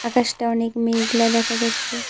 আকাশটা অনেক মেঘলা দেখা যাচ্ছে।